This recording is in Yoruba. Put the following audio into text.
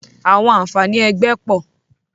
Àwọn àǹfààní ẹgbẹ́ pọ̀